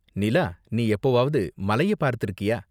நிலா, நீ எப்போவாவது மலைய பார்த்திருக்கியா?